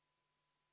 Kas on küsimusi?